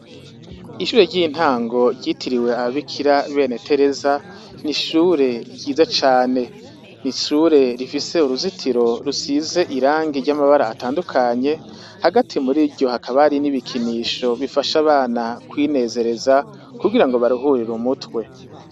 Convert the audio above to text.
Ishure ry'intango ryitiriwe abandikira bene Tereza, ni ishure ryiza cane. Ni ishure rifise uruzitiro rusize irangi ry'amabara atandukanye, hagati muriryo hakaba hari n'ibikinisho bifasha abana kwinezereza kugira ngo baruhurire umutwe.